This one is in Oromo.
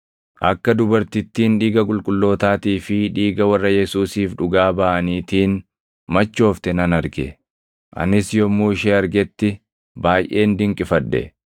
Akka dubartittiin dhiiga qulqullootaatii fi dhiiga warra Yesuusiif dhugaa baʼaniitiin machoofte nan arge. Anis yommuu ishee argetti baayʼeen dinqifadhe.